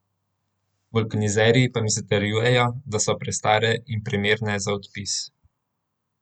Vulkanizerji pa mi zatrjujejo, da so prestare in primerne za odpis.